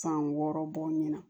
San wɔɔrɔ bɔ ɲɛna